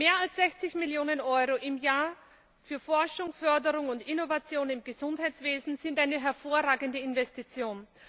Mehr als 60Millionen Euro im Jahr für Forschung, Förderung und Innovation im Gesundheitswesen sind eine hervorragende Investition.